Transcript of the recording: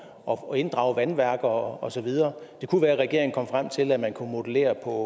og inddrage vandværker og så videre det kunne være at regeringen kom frem til at man kunne modellere på